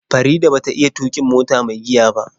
Farida ba ta iya tuƙin mota mai giya ba.